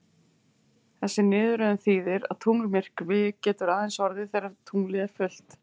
Þessi niðurröðun þýðir að tunglmyrkvi getur aðeins orðið þegar tunglið er fullt.